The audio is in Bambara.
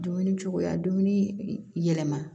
Dumuni cogoya dumuni yɛlɛma